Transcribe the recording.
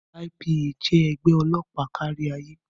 IPA jẹ́ ẹgbẹ́ ọlọ́pàá kárí ayé.